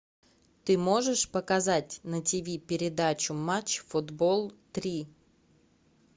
ты можешь показать на тв передачу матч футбол три